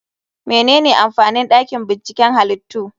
Menene amfanin dakin binciken halittu?